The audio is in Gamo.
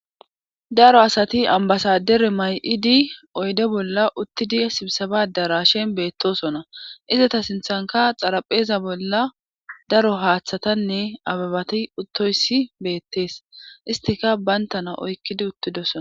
daro asati ambasadere may7idi oyde bolla uttidi sibisaba dara shen beettosona izata sinthanka xarapheeza bolla daro haaththatanne ababati uttoyssi beettees istika bayntana oykkidi uttidosona